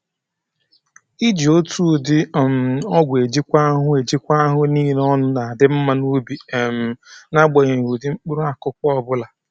Iji otu ụdị um ọgwụ ejikwa ahụhụ ejikwa ahụhụ niile ọnụ na-adị mma n'ubi um n'agbanyeghị ụdị mkpụrụ akụkụ ọbụla